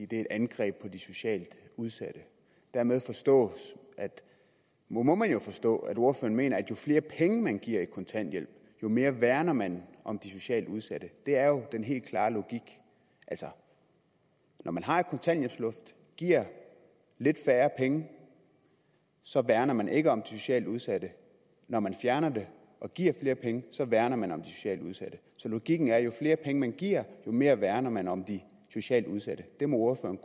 det er et angreb på de socialt udsatte dermed må må man jo forstå at ordføreren mener at jo flere penge man giver i kontanthjælp jo mere værner man om de socialt udsatte det er jo den helt klare logik når man har et kontanthjælpsloft og giver lidt færre penge så værner man ikke om de socialt udsatte når man fjerner det og giver flere penge så værner man om de socialt udsatte så logikken er at jo flere penge man giver jo mere værner man om de socialt udsatte det må ordføreren